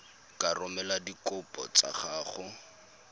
ka romela dikopo tsa gago